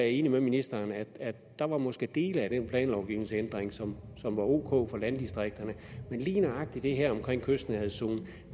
enig med ministeren der måske var del af den planlovgivningsændring som var ok for landdistrikterne men lige nøjagtig det her omkring kystnærhedszonen